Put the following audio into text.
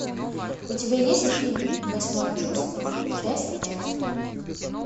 у тебя есть фильм восьмое чувство часть пять